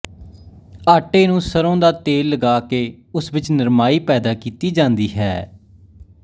ਆਟੇ ਨੂੰ ਸਰ੍ਹੋਂ ਦਾ ਤੇਲ ਲਗਾ ਕੇ ਉਸ ਵਿਚ ਨਰਮਾਈ ਪੈਦਾ ਕੀਤੀ ਜਾਂਦੀ ਹੈ